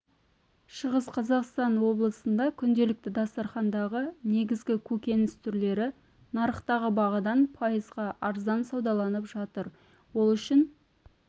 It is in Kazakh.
шығыс қазақстан облысында күнделікті дастархандағы негізгі көкөніс түрлері нарықтағы бағадан пайызға арзан саудаланып жатыр ол үшін